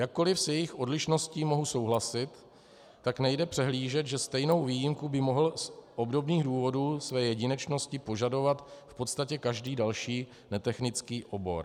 Jakkoli s jejich odlišností mohu souhlasit, tak nejde přehlížet, že stejnou výjimku by mohl z obdobných důvodů své jedinečnosti požadovat v podstatě každý další netechnický obor.